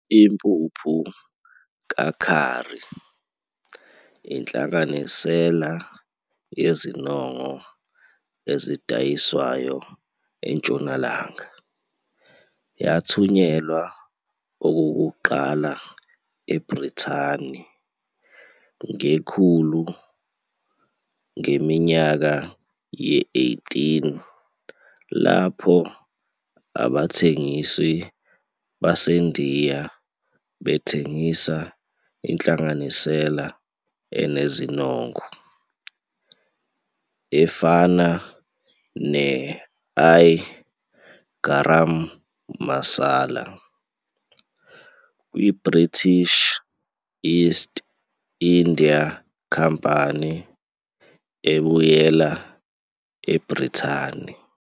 Impuphu ka-curry, inhlanganisela yezinongo ezidayiswayo eNtshonalanga, yathunyelwa okokuqala eBrithani ngekhulu ngeminyaka ye-18 lapho abathengisi baseNdiya bethengisa inhlanganisela enezinongo, efana ne-I-Garam masala, kwi-British East India Company ebuyela eBrithani.